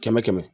Kɛmɛ kɛmɛ